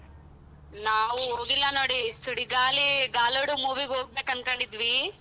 ನಾವು ಹೋಗಿಲ್ಲ ನೋಡಿ Sudigali గాలోడు movie ಗ್ ಹೋಗಬೇಕು ಅನಕೊಂಡಿದ್ವಿ.